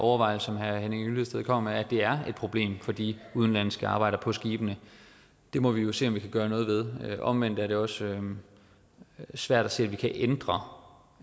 overvejelse som herre henning hyllested kommer med at det er et problem for de udenlandske arbejdere på skibene må vi jo se om vi kan gøre noget ved omvendt er det også svært at se at vi kan ændre